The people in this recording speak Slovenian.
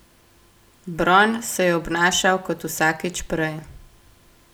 Bron se je obnašal kot vsakič prej.